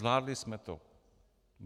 Zvládli jsme to.